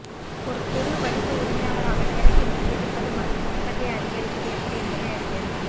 ஒரு சிறு வணிக உரிமையாளராக நேரத்தை நிர்வகிப்பது மற்றும் உற்பத்தியை அதிகரிப்பது எப்படி என்பதை அறிக